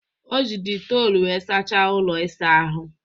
O ji detol wee sachaa ụlọ ịsa ahụ